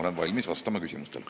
Olen valmis vastama küsimustele.